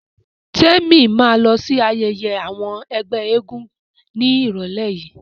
Témi ma lọ sí ayẹyẹ àwọn ẹgbẹ́ eégún ní ìrọ̀lẹ́ yìí